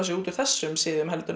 út úr þessum siðum heldur en